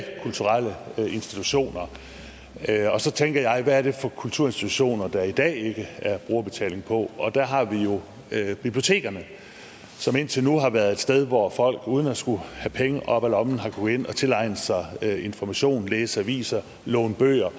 kulturelle institutioner og så tænker jeg hvad er det for kulturinstitutioner der i dag ikke er brugerbetaling på og der har vi jo bibliotekerne som indtil nu har været et sted hvor folk uden at skulle have penge op af lommen har kunnet gå ind og tilegne sig information læse aviser låne bøger